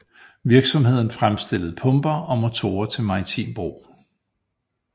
Virksomheden fremstillede pumper og motorer til maritim brug